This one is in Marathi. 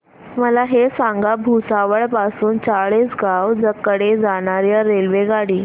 मला हे सांगा भुसावळ पासून चाळीसगाव कडे जाणार्या रेल्वेगाडी